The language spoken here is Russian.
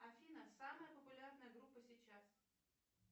афина самая популярная группа сейчас